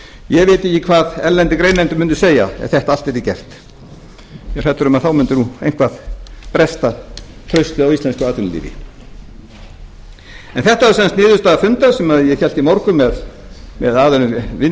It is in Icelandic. ég veit ekki hvað erlendir greinendur mundu segja ef þetta allt yrði gert ég er hræddur um að þá mundi nú eitthvað bresta traustið á íslensku atvinnulífi en þetta var sem sagt niðurstaða fundar sem ég hélt í morgun